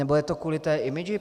Nebo je to kvůli té image?